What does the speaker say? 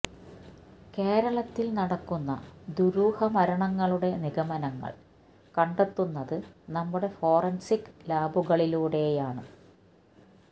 കേരളത്തില് നടക്കുന്ന ദുരുഹ മരണങ്ങളുടെ നിഗമനങ്ങള് കണ്ടെത്തുന്നത് നമ്മുടെ ഫോറന്സിക് ലാബുകളിലൂടെയാണ്